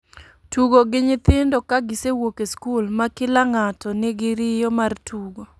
Tugo gi nyithindo ka gisewuok e skul. Ma kila ngato ni gi riyo mar tugo